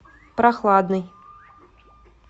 прохладный